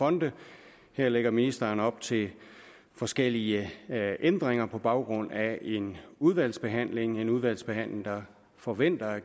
fonde her lægger ministeren op til forskellige ændringer på baggrund af en udvalgsbehandling en udvalgsbehandling der forventes at